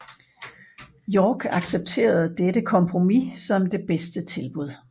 York accepterede dette kompromis som det bedste tilbud